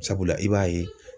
Sabula i b'a ye